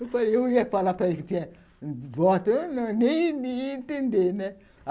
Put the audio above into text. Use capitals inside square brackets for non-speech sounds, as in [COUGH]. [LAUGHS] Eu ia falar para ele que tinha voto, eu nem ia entender, né? [LAUGHS]